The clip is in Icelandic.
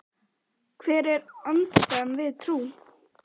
Spurning: Hver er andstæðan við trú?